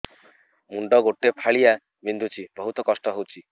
ମୁଣ୍ଡ ଗୋଟେ ଫାଳିଆ ବିନ୍ଧୁଚି ବହୁତ କଷ୍ଟ ହଉଚି